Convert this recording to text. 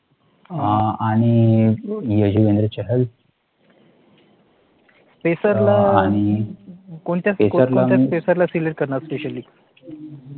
आणि यजुवेन्द्र चहल, आणि FACER ला कोणत्या कोणत्या FACER ला SELECT करणार SPECIALLY